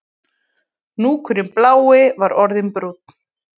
Hnúkurinn blái var orðinn brúnn